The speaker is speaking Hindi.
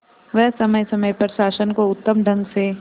वह समय समय पर शासन को उत्तम ढंग से